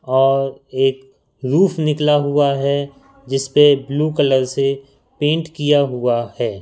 और एक रूफ निकला हुआ है जिस पर ब्लू कलर से पेंट किया हुआ है।